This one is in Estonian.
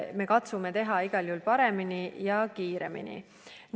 Me katsume teha igal juhul paremini ja kiiremini.